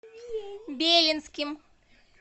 белинским